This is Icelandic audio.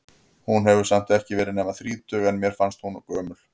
Hún hefur samt ekki verið nema þrítug, en mér fannst hún gömul.